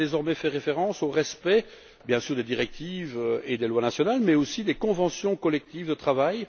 Il sera désormais fait référence au respect, bien sûr, des directives et des lois nationales mais aussi des conventions collectives de travail.